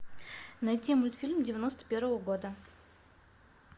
найти мультфильм девяносто первого года